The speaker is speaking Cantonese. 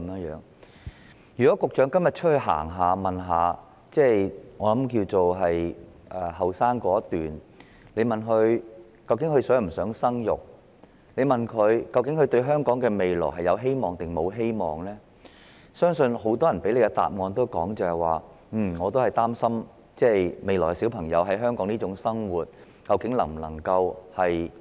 如果局長今天到外邊走一趟，詢問年輕一代是否想生育、他們對於香港的未來是否存有希望等，我相信很多人會給予局長這一答覆："我擔心孩子將來在香港能否過正常生活。